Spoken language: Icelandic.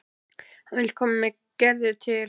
Hann vill koma með Gerði til